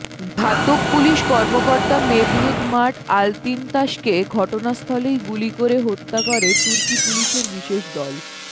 ঘাতক পুলিশ কর্মকর্তা Mevlut Mert আলতিনতাসকে ঘটনাস্থলেই গুলি করে হত্যা করে তুর্কি পুলিশের বিশেষ দল